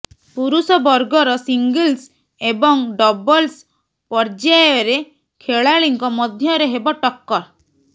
ପୁରୁଷ ବର୍ଗର ସିଙ୍ଗଲସ୍ ଏବଂ ଡବଲସ୍ ପଯର୍ୟାୟରେ ଖେଳାଳିଙ୍କ ମଧ୍ୟରେ ହେବ ଟକ୍କର